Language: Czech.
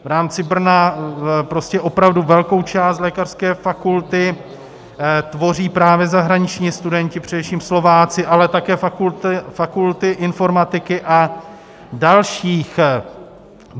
V rámci Brna opravdu velkou část lékařské fakulty tvoří právě zahraniční studenti, především Slováci, ale také fakulty informatiky a dalších.